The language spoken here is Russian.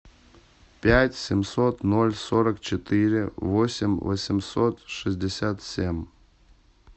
пять семьсот ноль сорок четыре восемь восемьсот шестьдесят семь